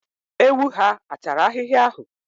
Ewu ha a tara ahịhịa ahụ?